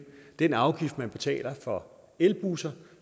den afgift man betaler for elbusser